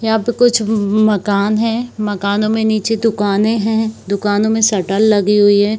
यहाँ पे कुछ म मकान है मकानों में नीचे दुकाने है दुकानों में सटर लगे हुई है।